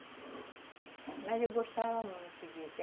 Mas eu gostava muito disso.